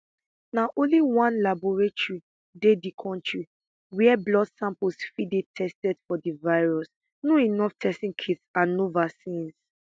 na only one laboratory dey di kontri wia blood samples fit dey tested for di virus no enough testing kits and no vaccines